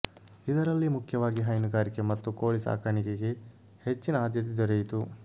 ಇದರಲ್ಲಿ ಮುಖ್ಯವಾಗಿ ಹೈನುಗಾರಿಕೆ ಮತ್ತು ಕೋಳಿ ಸಾಕಾಣಿಕೆಗೆ ಹೆಚ್ಚಿನ ಆದ್ಯತೆ ದೊರೆಯಿತು